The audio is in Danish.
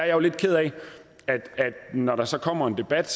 jo lidt ked af at når der så kommer en debat